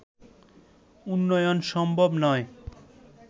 উন্নয়ন সম্ভব নয়